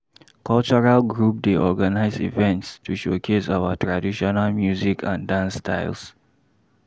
Cultural group dey organize events to showcase our traditional music and dance styles.